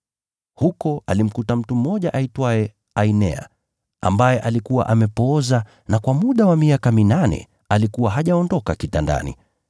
Huko alimkuta mtu mmoja aitwaye Ainea, ambaye alikuwa amepooza na kwa muda wa miaka minane alikuwa hajaondoka kitandani.